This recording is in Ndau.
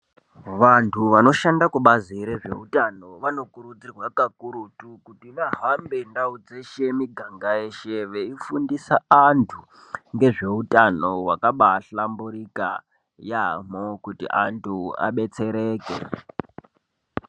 Vantu vanoshanda kubazi rezveutano vanokurudzirwa kakurutu kuti vahambe ndau dzeshe, miganga yeshe veifundisa antu ngezveutano hwakambaahlamburika yaamho kuti antu abetsereke.